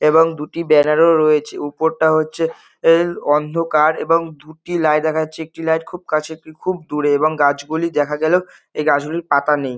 এবং দুটি ব্যানার -ও রয়েছে উপরটা হচ্ছে অ অন্ধকার এবং দুটি লাইট দেখা যাচ্ছে একটি লাইট খুব কাছে একটি লাইট খুব দূরে এবং গাছ গুলি দেখা গেলেও গাছ গুলির পাতা নেই ।